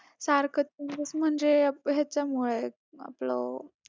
सारखं changes म्हणजे हेच्यामुळे आपलं